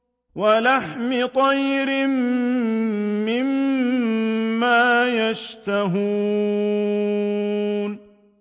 وَلَحْمِ طَيْرٍ مِّمَّا يَشْتَهُونَ